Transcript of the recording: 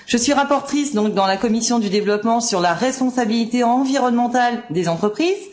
Je suis rapporteure dans la commission du développement sur la responsabilité environnementale des entreprises.